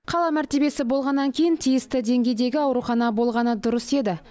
қала мәртебесі болғаннан кейін тиісті деңгейдегі аурухана болғаны дұрыс еді